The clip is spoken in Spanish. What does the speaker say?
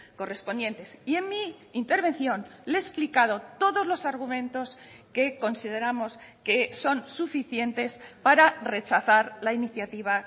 correspondientes y en mi intervención le he explicado todos los argumentos que consideramos que son suficientes para rechazar la iniciativa